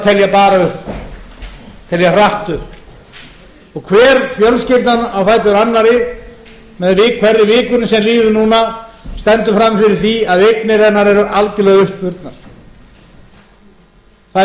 bara upp telja hratt upp hver fjölskyldan á fætur annarri með hverri vikunni sem líður núna stendur frammi fyrir því að eignir hennar eru algjörlega uppurnar þær fjölskyldur sem áttu